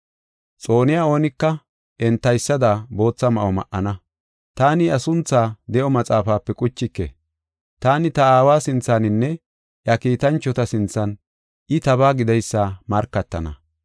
Xooniya oonika entaysada bootha ma7o ma7ana. Taani iya sunthaa de7o maxaafape quchike. Taani ta Aawa sinthaninne iya kiitanchota sinthan I tabaa gideysa markatana.